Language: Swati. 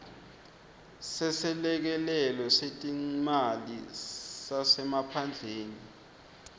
seselekelelo setimali sasemaphandleni